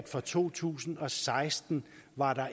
fra to tusind og seksten